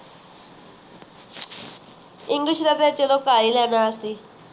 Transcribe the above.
english ਦਾ ਤਾਂ ਚਲੋ ਕਾਰ ਹੀ ਲੈਣਾ ਅੱਸੀ